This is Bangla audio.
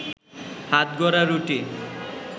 হাতগড়া রুটি